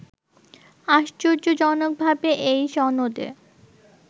আশ্চর্যজনকভাবে এই সনদে